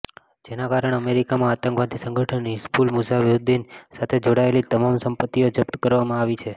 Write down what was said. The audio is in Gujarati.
જેના કારણે અમેરિકામાં આતંકવાદી સંગઠન હિઝબુલ મુઝાહિદ્દીન સાથે જોડાયેલી તમામ સંપત્તિઓ જપ્ત કરવામાં આવી છે